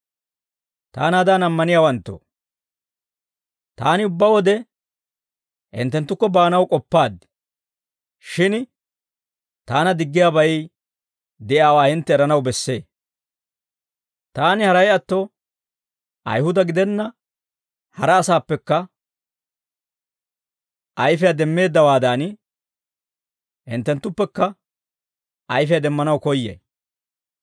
Taanaadan ammaniyaawanttoo, taani ubbaa wode hinttenttukko baanaw k'oppaad. Shin taana diggiyaabay de'iyaawaa hintte eranaw bessee; taani haray atto Ayihuda gidenna hara asaappekka ayfiyaa demmeeddawaadan, hinttenttuppekka ayfiyaa demmanaw koyyay.